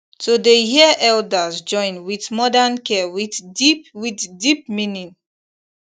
to dey hear elders join with modern care with deep with deep meaning